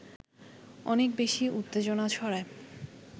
অনেক বেশি উত্তেজনা ছড়ায়